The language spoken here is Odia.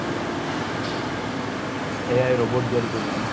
ai robot ତିଆରି କରୁଚି